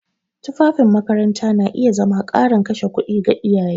Tufafin makaranta na iya zama ƙarin kashe kuɗi ga iyaye.